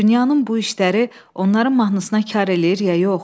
Dünyanın bu işləri onların mahnısına kar eləyir ya yox.